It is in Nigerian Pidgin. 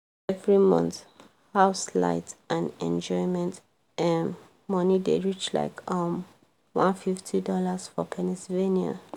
every month house light and enjoyment um money dey reach like um $150 for pennsylvania